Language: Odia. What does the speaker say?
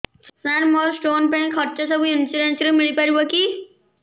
ସାର ମୋର ସ୍ଟୋନ ପାଇଁ ଖର୍ଚ୍ଚ ସବୁ ଇନ୍ସୁରେନ୍ସ ରେ ମିଳି ପାରିବ କି